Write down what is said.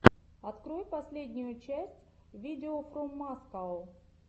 открой последнюю часть видеофроммаскау